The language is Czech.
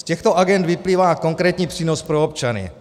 Z těchto agend vyplývá konkrétní přínos pro občany.